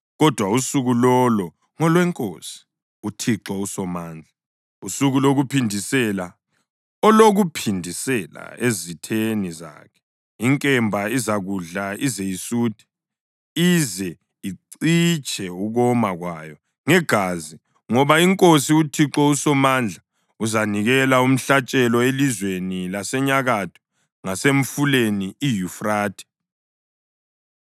Kodwa usuku lolo ngolweNkosi, uThixo uSomandla, usuku lokuphindisela, olokuphindisela ezitheni zakhe. Inkemba izakudla ize isuthe, ize icitshe ukoma kwayo ngegazi. Ngoba iNkosi, uThixo uSomandla uzanikela umhlatshelo elizweni lasenyakatho ngasemfuleni iYufrathe.